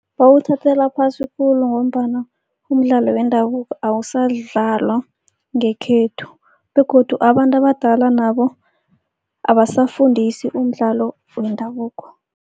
Bawuthathela phasi khulu ngombana umdlalo wendabuko awusadlalwa ngekhethu begodu abantu abadala nabo, abasafundisi umdlalo wendabuko.